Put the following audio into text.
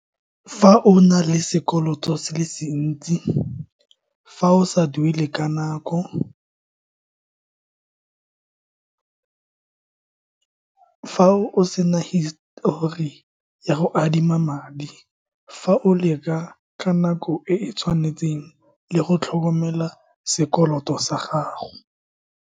Fa o na le sekoloto se le sentsi, fa o sa duele ka nako, fa o sena hisitori ya go adima madi, fa o leka ka nako e e tshwanetseng le go tlhokomela sekoloto sa gago.